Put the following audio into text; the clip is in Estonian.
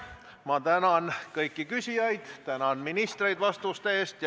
Ma tänan kõiki küsijaid ja tänan ministreid vastuste eest.